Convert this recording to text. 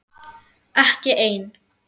Ekki ein.